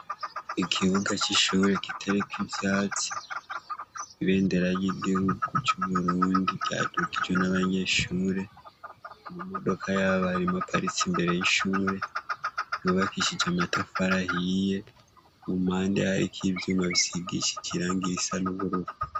Ikibuga c'ishure kitariko ivyatsi, ibendera ry'igihugu c'uburundi ryandugije abanyeshure, amamodoka y'abarimu aparitse imbere y'ishure ryubakishije amatafari ahiye ku mpande hariko ivyuma bisigishije irangi risa n'ubururu.